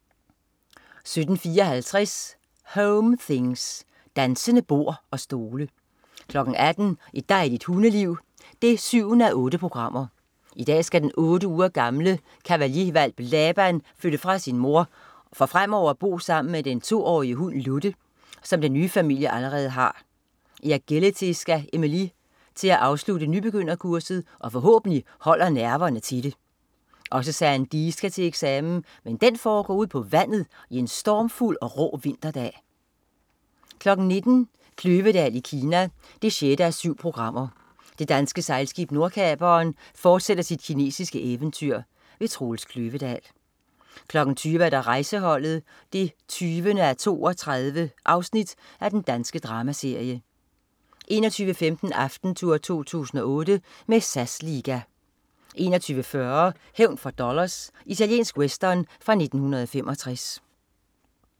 17.54 Home things. Dansende bord og stole 18.00 Et dejligt hundeliv 7:8. I dag skal den otte uger gamle Cavalier-hvalp Laban flytte fra sin mor for fremover at bo sammen med den 2-årige hund Ludde, som den nye familie allerede har. I agility skal Emelie til at afslutte nybegynderkurset, og forhåbentlig holder nerverne til det! Også Sandee skal til eksamen, men den foregår ude på vandet en stormfuld og rå vinterdag 19.00 Kløvedal i Kina 6:7. Det danske sejlskib Nordkaperen fortsætter sit kinesiske eventyr. Troels Kløvedal 20.00 Rejseholdet 20:32. Dansk dramaserie 21.15 Aftentour 2008 med SAS liga 21.40 Hævn for dollars. Italiensk western fra 1965